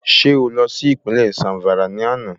Ṣé o lọ sí Ìpínlẹ̀ Zàmfàrà lánàá